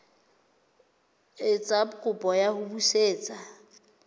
etsa kopo ya ho busetswa